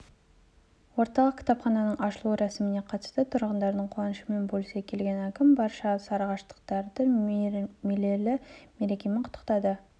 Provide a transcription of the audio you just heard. орталық кітапхананың ашылу рәсіміне қатысты тұрғындардың қуанышымен бөлісе келген әкім барша сарыағаштықтарды мерейлі мерекемен құттықтады